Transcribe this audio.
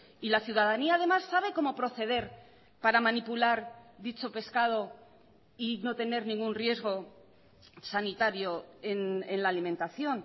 y la ciudadanía además sabe cómo proceder para manipular dicho pescado y no tener ningún riesgo sanitario en la alimentación